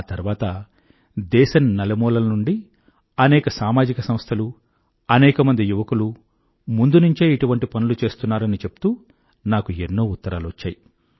ఆ తర్వాత దేశం నలుమూలల నుండీ అనేక సామాజిక సంస్థలు అనేకమంది యువకులు ముందునుంచే ఇటువంటి పనులు చేస్తున్నారని చెప్తూ నాకు ఎన్నో ఉత్తరాలు వచ్చాయి